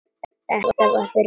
Þetta var fyrir fjórum árum.